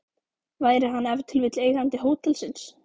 Væri hann ef til vill eigandi hótelsins?